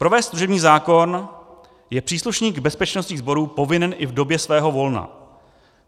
Provést služební zákrok je příslušník bezpečnostních sborů povinen i v době svého volna.